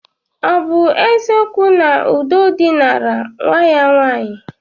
Ọ bụ eziokwu na Udo dinara nwa ya nwaanyị?